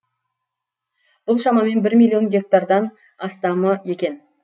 бұл шамамен бір миллион гектардан астамы екен